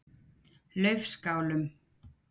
Laufskálum